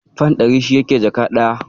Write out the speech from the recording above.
Fan ɗari shi yake jaka ɗaya.